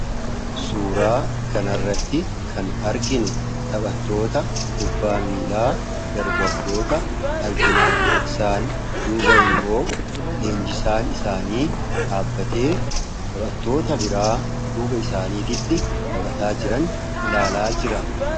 suuraa kanarratti kan arginu taphatoota kubbaa miillaa dargaggootaa argina isaan duubaan immoo leenjisaan isaanii dhaabbatee taphattoota biraa duuba isaaniittin taphachaa jiran ilaalaa jira